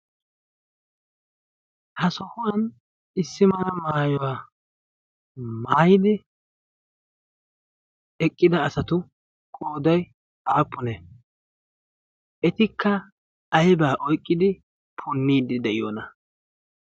ha sohuwan issimala maayuwaa maayidi eqqida asatu qooday aappune etikka aybaa oyqqidi punniidi de'iyoona